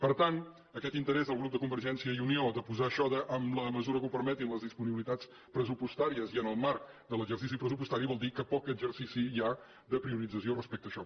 per tant aquest interès del grup de convergència i unió de posar això d’ en la mesura que ho permetin les disponibilitats pressupostàries i en el marc de l’exercici pressupostari vol dir que poc exercici hi ha de priorització respecte a això